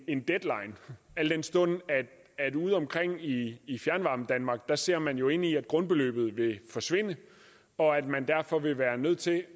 en deadline al den stund at ude omkring i i fjernvarmedanmark ser man jo ind i at grundbeløbet vil forsvinde og at man derfor vil være nødt til at